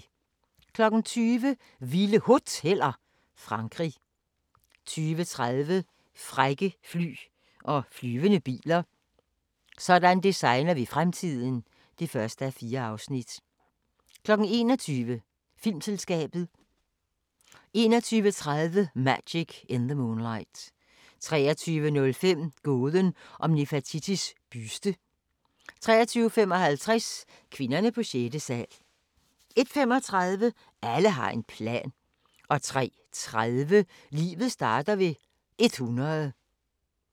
20:00: Vilde Hoteller – Frankrig 20:30: Frække fly og flyvende biler - sådan designer vi fremtiden (1:4) 21:00: Filmselskabet 21:30: Magic in the Moonlight 23:05: Gåden om Nefertitis buste 23:55: Kvinderne på sjette sal 01:35: Alle har en plan 03:30: Livet starter ved 100